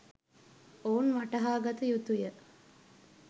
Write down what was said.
ඔවුන් වටහාගත යුතුය.